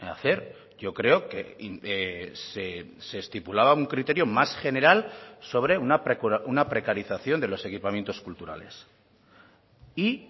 hacer yo creo que se estipulaba un criterio más general sobre una precarización de los equipamientos culturales y